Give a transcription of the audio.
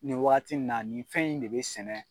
Nin waati in na, nin fɛn in de bɛ sɛnɛ.